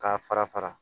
K'a fara fara